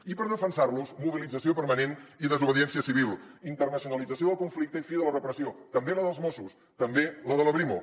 i per defensar los mobilització permanent i desobediència civil internacionalització del conflicte i fi de la repressió també la dels mossos també la de la brimo